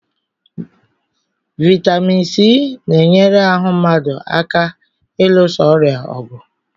Vitamin C na-enyere ahụ mmadụ aka ilusa ọrịa ọgụ